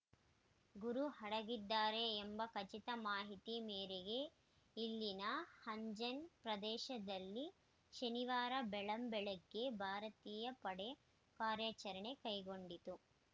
ಗುರು ಅಡಗಿದ್ದಾರೆ ಎಂಬ ಖಚಿತ ಮಾಹಿತಿ ಮೇರೆಗೆ ಇಲ್ಲಿನ ಹಂಜನ್‌ ಪ್ರದೇಶದಲ್ಲಿ ಶನಿವಾರ ಬೆಳ್ಳಂಬೆಳಗ್ಗೆ ಭಾರತೀಯ ಪಡೆ ಕಾರ್ಯಾಚರಣೆ ಕೈಗೊಂಡಿತು